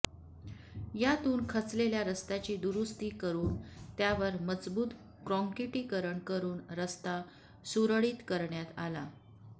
यातून खचलेल्या रस्त्याची दुरुस्ती करून त्यावर मजबूत काँक्रिटीकरण करून रस्ता सुरळीत करण्यात आला